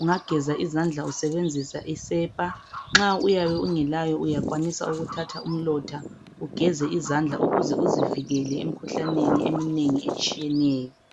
ungageza izandla usebenzisa isepa nxa uyabe ungelayo uyakwanisa ukuthatha umlotha ugeze izandla ukuze uzivikele emikhuhlaneni eminengi etshiyeneyo.